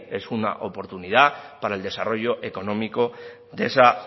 es una oportunidad para el desarrollo económico de esa